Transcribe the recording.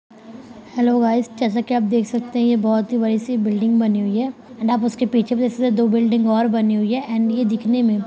hello guys जैसा कि आप देख सकते हैं ये बहोत ही बड़ी सी बिल्डिंग बनी हुई है एंड आप उसके पीछे भी देख सकते हैं दो बिल्डिंग और बनी हुई हैं एंड ये दिखने में --